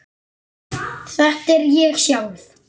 Þetta er ég sjálf.